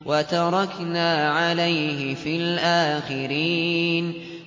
وَتَرَكْنَا عَلَيْهِ فِي الْآخِرِينَ